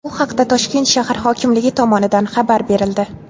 Bu haqda Toshkent shahar hokimligi tomonidan xabar berildi .